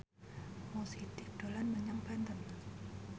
Mo Sidik dolan menyang Banten